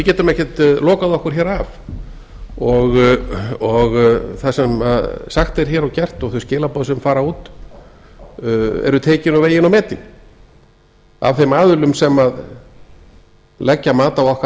við getum ekkert lokað okkur hér af og það sem sagt er hér og gert og þau skilaboð sem fara út eru tekin og vegin og metin af þeim aðilum sem leggja mat á okkar